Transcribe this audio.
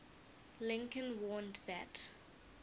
lincoln warned that